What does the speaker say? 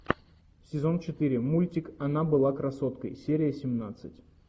сезон четыре мультик она была красоткой серия семнадцать